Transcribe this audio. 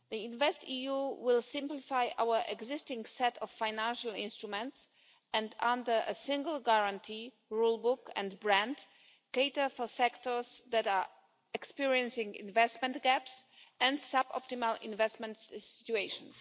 InvestEU will simplify our existing set of financial instruments and, under a single guarantee, rule book and brand, cater for sectors that are experiencing investment gaps and sub optimal investments situations.